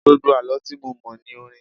Gbogbo Àlọ́ tí mo mọ̀ ní orin.